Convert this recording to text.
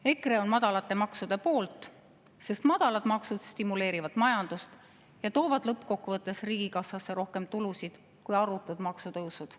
EKRE on madalate maksude poolt, sest madalad maksud stimuleerivad majandust ja toovad lõppkokkuvõttes riigikassasse rohkem tulusid kui arutud maksutõusud.